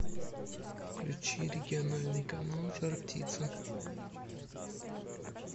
включи региональный канал жар птица